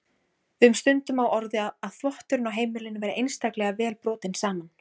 Við höfðum stundum á orði að þvotturinn á heimilinu væri einstaklega vel brotinn saman.